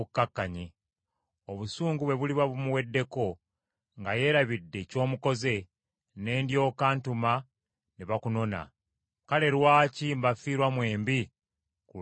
Obusungu bwe buliba bumuweddeko, nga yeerabidde ky’omukoze, ne ndyoka ntuma ne bakunona. Kale lwaki mbafiirwa mwembi ku lunaku olumu?”